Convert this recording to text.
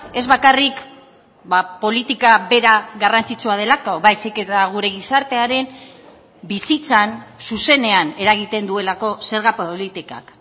ez bakarrik politika bera garrantzitsua delako baizik eta gure gizartearen bizitzan zuzenean eragiten duelako zerga politikak